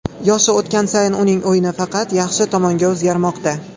Yoshi o‘tgan sayin uning o‘yini faqat yaxshi tomonga o‘zgarmoqda.